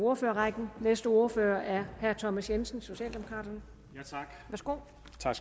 ordførerrækken næste ordfører er herre thomas jensen socialdemokraterne værsgo